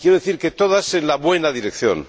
y quiero decir que todas van en la buena dirección.